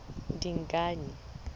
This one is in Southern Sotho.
dingane